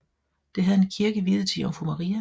Det havde en kirke viet til Jomfru Maria